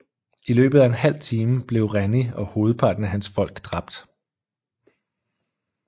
I løbet af en halv time blev Rennie og hovedparten af hans folk dræbt